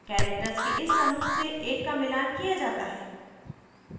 characters के इस समूह से एक का मिलान किया जाता है